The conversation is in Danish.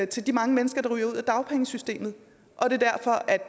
til de mange mennesker der ryger ud af dagpengesystemet og